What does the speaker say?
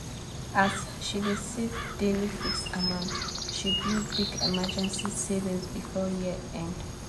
as she dey save daily fixed amount she build big emergency savings before year end.